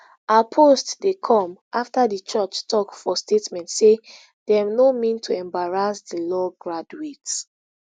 her post dey come afta di churh tok for statement say dem no mean to embarrass di law graduate